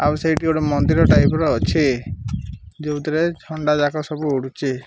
ଆଉ ସେଇଠି ଗୋଟେ ମନ୍ଦିର ଟାଇପ ର ଅଛି ଯୋଉଥିରେ ଖଣ୍ଡାଯାକ ସବୁ ଉଡୁଚି।